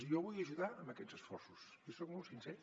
i jo vull ajudar en aquests esforços jo soc molt sincer